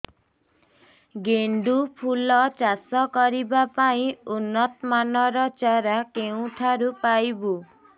ଗେଣ୍ଡୁ ଫୁଲ ଚାଷ କରିବା ପାଇଁ ଉନ୍ନତ ମାନର ଚାରା କେଉଁଠାରୁ ପାଇବୁ